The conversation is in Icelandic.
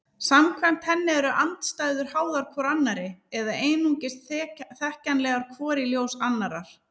Samkvæmt henni eru andstæður háðar hvor annarri eða einungis þekkjanlegar hvor í ljós annarrar.